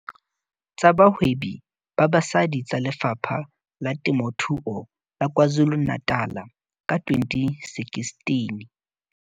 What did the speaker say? Tsa Bahwebi ba Basadi tsa Lefapha la Temothuo la KwaZulu-Natal ka 2016.